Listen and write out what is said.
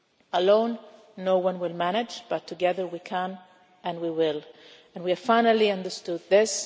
Alone, no one will manage, but together we can and we will, and we have finally understood